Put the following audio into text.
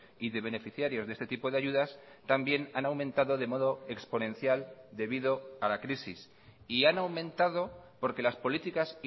y de beneficiarios de este tipo de ayudas también han aumentado de modo exponencial debido a la crisis y han aumentado porque las políticas